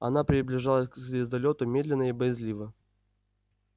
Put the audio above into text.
она приближалась к звездолёту медленно и боязливо